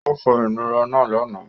Ó fọ ìnura náà lánàá.